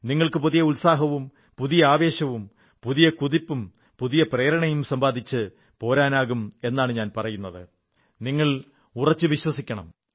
നിങ്ങൾക്ക് പുതിയ ഉത്സാഹവും പുതിയ ആവേശവും പുതിയ കുതിപ്പും പുതിയ പ്രേരണയും സമ്പാദിച്ച് പോരാനാകും എന്നു ഞാൻ പറയുന്നത് നിങ്ങൾ ഉറച്ചു വിശ്വസിക്കണം